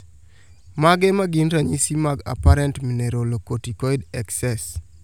Mage magin ranyisi mag Apparent mineralocorticoid excess